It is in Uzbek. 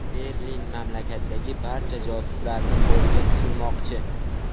Berlin mamlakatdagi barcha josuslarni qo‘lga tushirmoqchi.